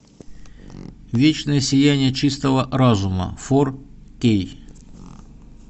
вечное сияние чистого разума фор кей